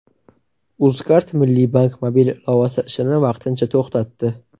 UzCard Milliy bank mobil ilovasi ishini vaqtincha to‘xtatdi.